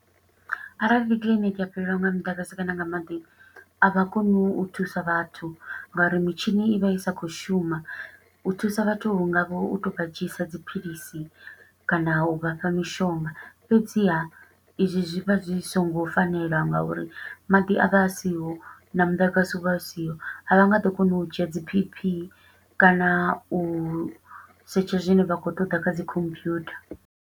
Arali kiḽiniki ya fhelelwa nga muḓagasi kana nga maḓi, a vha koni u thusa vhathu, nga uri mitshini i vha i sa khou shuma. U thusa vhathu hu nga vha u tou vha dzhiisa dziphilisi, kana u vha fha mishonga. Fhedziha, i zwi zwi vha zwi songo fanela nga uri maḓi a vha a siho, na muḓagasi u vha u siho, a vha nga ḓo kona u dzhia dzi B_P, kana u setsha zwine vha khou ṱoḓa kha dzi computer.